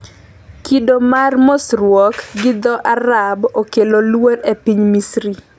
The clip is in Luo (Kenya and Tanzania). kido mar mosruok gi dho Arab okelo luoro e piny Misri